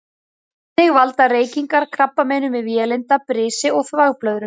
Þannig valda reykingar krabbameinum í vélinda, brisi og þvagblöðru.